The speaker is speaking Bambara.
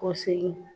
Kɔsigi